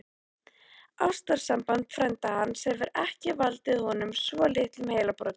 Ástarsamband frænda hans hefur ekki valdið honum svo litlum heilabrotum!